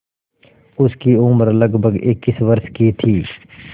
उसकी उम्र लगभग इक्कीस वर्ष की थी